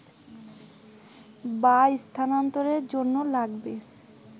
বা স্থানান্তরের জন্য লাগবে